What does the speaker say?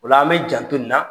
Ola an bɛ janto nin na.